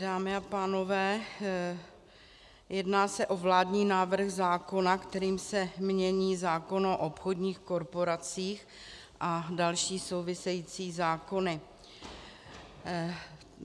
Dámy a pánové, jedná se o vládní návrh zákona, kterým se mění zákon o obchodních korporacích a další související zákony.